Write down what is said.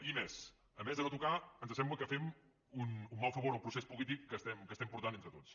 i més a més de no tocar ens sembla que fem un mal favor al procés polític que estem portant entre tots